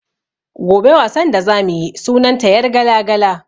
Gobe wasan da za mu yi sunan ta "yargala-gala".